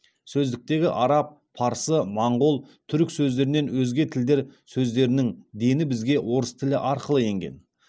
сөздіктегі араб парсы моңғол түрік сөздерінен өзге тілдер сөздерінің дені бізге орыс тілі арқылы енген